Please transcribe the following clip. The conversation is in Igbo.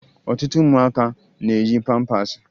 Ọtụtụ ụmụaka na-eyi pampaasị